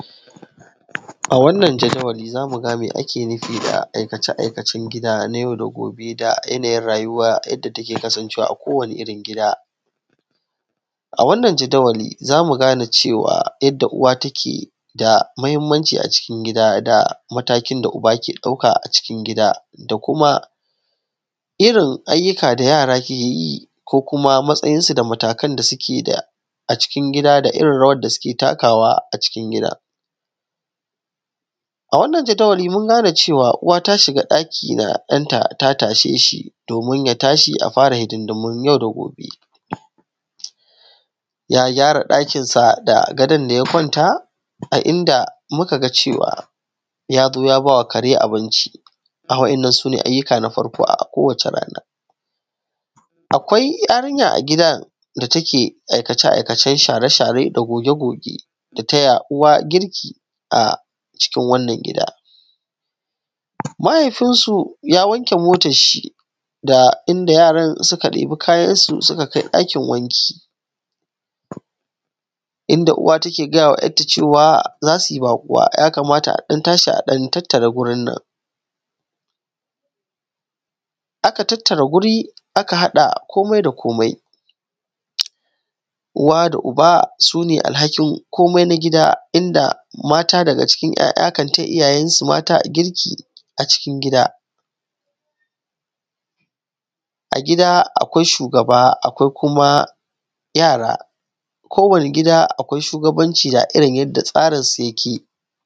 A wannan jadawalin za mu ga me ake nufi da aikace–aikacen gida na yau da goɓe da yanayin rayuwa yadda take kasancewa a kowanni irin gida a wannan jadawalin zamu gane yanda uwa take da muhimmanci a cikin gida da matakin da uba yake ɗauka a cikin gida da kuma irin ayyukan da yara ke yi ko kuma matsayin su da matakan da suke da a cikin gida da irin rawar da suke takawa a cikin gida a wannan jadawalin mun gane cewa uwa ta shiga ɗaki da ɗan ta ta tashe shi domin ya tashi a fara hidindimun yau da gobe ya gyara ɗakin sa da gadon da ya ƙwanta a inda muka ga cewa yaje ya bawa kare abinci waɗannan sune ayyukan kowacce rana akwai yarinya a gidan da ta ke aikace-aikacen share-share da goge-goge da taya uwa girki a cikin wannan gida mahaifin su ya wanke motar shi da inda yaran suka ɗebi kayan su suka kai ɗakin wanki inda uwa take gayawa ‘yarta cewa za suyi baƙuwa ya kamata a ɗan tashi a tattara gurin nan aka tattara guri aka haɗa komai da komai uwa da uba sune alhakin komai na gida inda mata daga cikin ‘ya’ya kan taya iyayen su mata girki a cikin gida a gida akwai shugaba da kuma yara kowanni gida akwai shugabanci a irin yanda tsarinsu yake